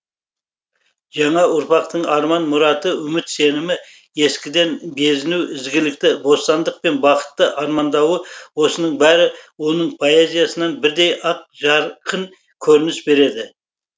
жаңа ұрпақтың арман мұраты үміт сенімі ескіден безіну ізгілікті бостандық пен бақытты армандауы осының бәрі оның поэзиясынан бірдей ақ жарқын көрініс берді